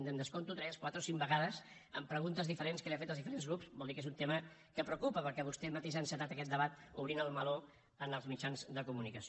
em descompto tres quatre o cinc vegades amb preguntes diferents que li han fet els diferents grups vol dir que és un tema que preocupa perquè vostè mateix ha encetat aquest debat obrint el meló en els mitjans de comunicació